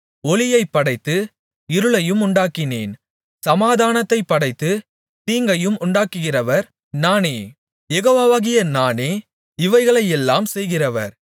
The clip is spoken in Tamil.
ஒளியைப் படைத்து இருளையும் உண்டாக்கினேன் சமாதானத்தைப் படைத்து தீங்கையும் உண்டாக்குகிறவர் நானே யெகோவாவாகிய நானே இவைகளையெல்லாம் செய்கிறவர்